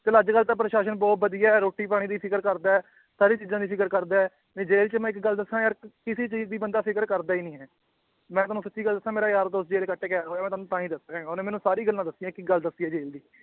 ਚੱਲ ਅੱਜ ਕੱਲ੍ਹ ਤਾਂ ਪ੍ਰਸਾਸ਼ਨ ਬਹੁਤ ਵਧੀਆ ਹੈ ਰੋਟੀ ਪਾਣੀ ਦੀ ਫ਼ਿਕਰ ਕਰਦਾ ਹੈ, ਸਾਰੀ ਚੀਜ਼ਾਂ ਦੀ ਫ਼ਿਕਰ ਕਰਦਾ ਹੈ ਨਹੀਂ ਜੇਲ੍ਹ ਚ ਮੈਂ ਇੱਕ ਗੱਲ ਦੱਸਾਂ ਯਾਰ ਕਿਸੇ ਚੀਜ਼ ਦੀ ਬੰਦਾ ਫ਼ਿਕਰ ਕਰਦਾ ਹੀ ਨੀ ਹੈ, ਮੈਂ ਤੁਹਾਨੂੰ ਸੱਚੀ ਗੱਲ ਦੱਸਾਂ ਮੇਰਾ ਯਾਰ ਦੋਸਤ ਜੇਲ੍ਹ ਚ ਕੱਟ ਕੇ ਆਇਆ ਹੋਇਆ ਤੁਹਾਨੂੰ ਤਾਂਹੀ ਦੱਸ ਰਿਹਾਂ, ਉਹਨੇ ਮੈਨੂੰ ਸਾਰੀ ਗੱਲਾਂ ਦੱਸੀਆਂ ਇੱਕ ਇੱਕ ਗੱਲ ਦੱਸੀ ਹੈ ਜੇਲ੍ਹ ਦੀ